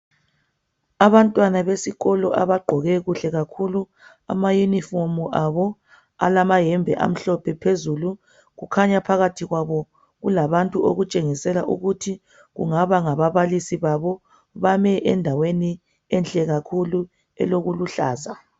Abantwana besikolo abagqoke kuhle kakhulu amayunifomi abo alamayembe amhlophe phezulu kukhanya phakathi kwabo kulabantu okutshengisela ukuthi kungaba ngababalisi babo. Bame endaweni enhle kakhulu elokuluhlaza.